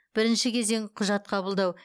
бірінші кезең құжат қабылдау